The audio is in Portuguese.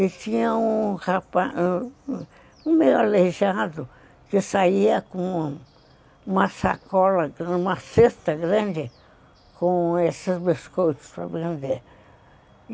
E tinha um rapaz, meio aleijado, que saía com uma sacola, uma cesta grande, com esses biscoitos para vender.